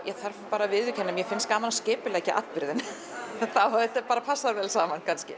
að viðurkenna að mér finnst gaman að skipuleggja atburði þannig að þetta bara passar vel saman kannski